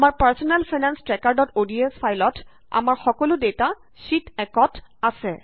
আমাৰ personal finance ট্ৰেকাৰods ফাইলত আমাৰ সকলো ডেটা শ্যিট 1 ত আছে